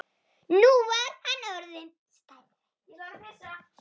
Nú var hann orðinn stærri.